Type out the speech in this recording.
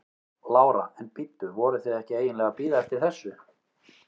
Lára: En bíddu, voruð þið ekki eiginlega að bíða eftir þessu?